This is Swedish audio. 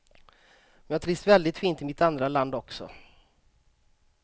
Men jag trivs väldigt fint i mitt andra land också.